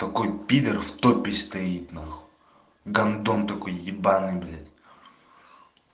такой пидар в топе стоит нахуй гандон такой ебанный блять